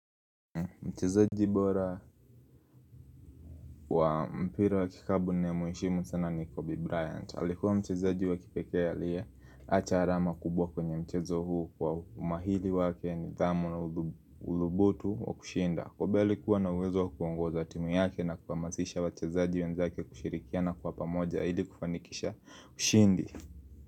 Mchezaji bora wa mpira wa kikapu namuheshimu sana ni Kobe Bryant. Alikuwa mchezaji wa kipekee liya, acharama kubwa kwenye mchezo huu kwa umahili wake ni dhamu na ulubutu wa kushinda. Kobe alikuwa na uwezo kuongoza timu yake na kuhamasisha wachezaji wenzake kushirikiana kwa pamoja ili kufanikisha ushindi.